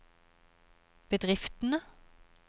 bedriftene